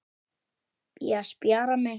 Ég spjara mig.